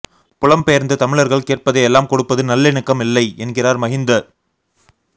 புலம்பெயர்ந்த தமிழர்கள் கேட்பதை எல்லாம் கொடுப்பது நல்லிணக்கம் இல்லை என்கிறார் மஹிந்த